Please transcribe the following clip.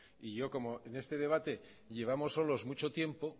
y yo como en este debate llevamos solos muchos tiempo